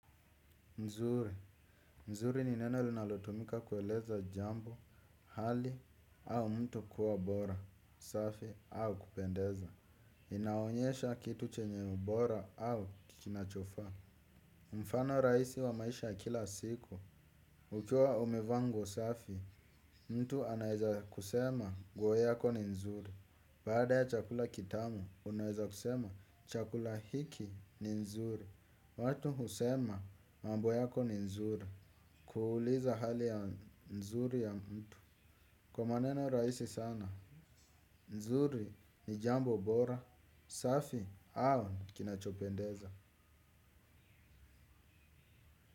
Nzuri. Nzuri ni neno linalotumika kueleza jambo, hali, au mtu kua bora, safi, au kupendeza. Inaonyesha kitu chenye ubora, au kinachofaa. Mfano raisi wa maisha ya kila siku, ukiwa umevaa nguo safi, mtu anaeza kusema, nguo yako ni nzuri. Baada ya chakula kitamu, unaeza kusema, chakula hiki ni nzuri. Watu husema, mambo yako ni nzuri. Kuuliza hali ya nzuri ya mtu. Kwa maneno raisi sana. Nzuri, ni jambo bora, safi au kinachopendeza.